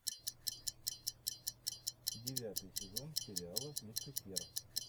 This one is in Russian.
девятый сезон сериала люцифер